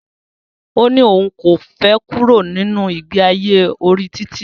Ó ní òun kò fẹ kúrò nínu ìgbe ayé orí títì.